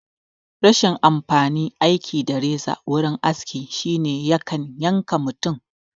Rashin amfanin aiki da reza wurin aski shine yakan yanka mutum